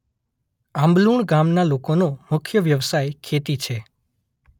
આંબલુણ ગામના લોકોનો મુખ્ય વ્યવસાય ખેતી છે.